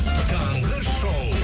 таңғы шоу